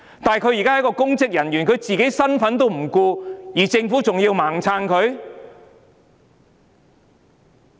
她是公職人員，但她連自己的身份也不顧，政府為何還要"盲撐"她？